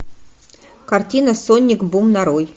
картина сонник бум нарой